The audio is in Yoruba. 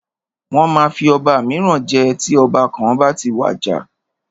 Wọ́n máa fi ọba míràn jẹ tí ọba kan bá ti wàjà.